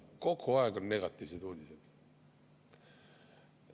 Kogu aeg on negatiivsed uudised.